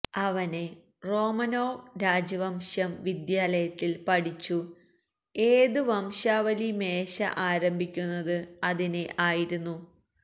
അവനെ റോമനോവ് രാജവംശം വിദ്യാലയത്തിൽ പഠിച്ചു ഏത് വംശാവലി മേശ ആരംഭിക്കുന്നത് അതിനെ ആയിരുന്നു